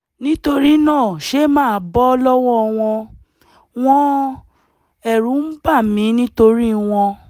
nítorí náà ṣé màá bọ́ lọ́wọ́ wọn? wọn? ẹ̀rù ń bà mí nítorí wọn